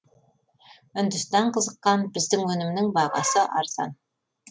үндістан қызыққан біздің өнімнің бағасы арзан